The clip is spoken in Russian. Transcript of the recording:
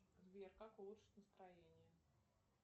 сбер как улучшить настроение